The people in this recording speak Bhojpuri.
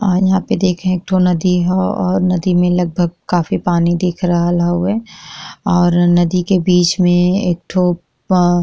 और यहाँ पे देखे एक थो नदी ह और नदी लगभग काफी पानी दिख रहल हवे और नदी के बिच में एठो प --